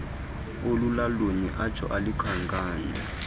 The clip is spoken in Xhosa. olulolunye atsho elukhankanya